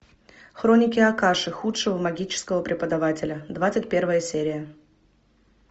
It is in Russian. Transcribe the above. хроники акаши худшего магического преподавателя двадцать первая серия